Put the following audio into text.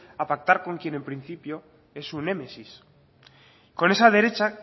a pactar con quien en principio es su némesis con esa derecha